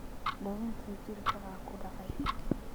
Dawinti jirka aa kudacey.